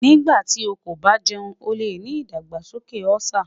Nigbati o ko ba jẹun o le ni idagbasoke Ulcer